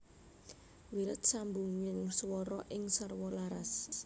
Wilet sambunging swara sing sarwa laras